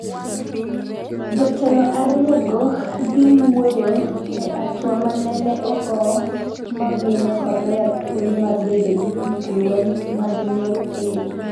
jotelo ariyogo dhi wuoyo e atwa manene ogo mamiyo Korea thwolo mar bedo gi gik lweny mag nuklia